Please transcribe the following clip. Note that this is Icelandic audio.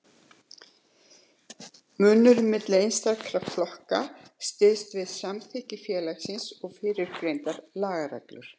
Munurinn milli einstakra flokka styðst við samþykktir félagsins og fyrrgreinda lagareglu.